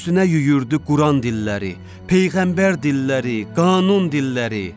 Üstünə yüyürdü quran dilləri, peyğəmbər dilləri, qanun dilləri.